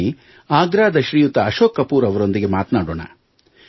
ಬನ್ನಿ ಆಗ್ರಾದ ಶ್ರೀಯುತ ಅಶೋಕ್ ಕಪೂರ್ ಅವರೊಂದಿಗೆ ಮಾತಾಡೋಣ